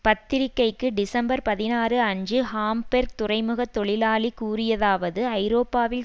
பத்திரிகைக்கு டிசம்பர் பதினாறு அன்று ஹாம்பேர்க் துறைமுகத் தொழிலாளி கூறியதாவது ஐரோப்பாவில்